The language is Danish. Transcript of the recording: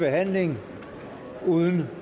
behandling uden